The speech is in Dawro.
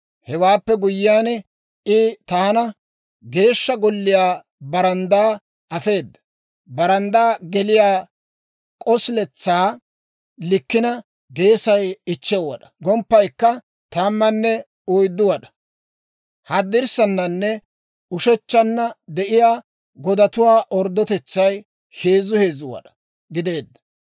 Hewaappe guyyiyaan, I taana Geeshsha Golliyaa baranddaa afeeda. Baranddaa geliyaa k'osiletsaa likkina geesay 5 wad'aa; gomppaykka 14 wad'aa. Haddirssananne ushechchanna de'iyaa godatuwaa orddotetsay heezzu heezzu wad'aa gideedda.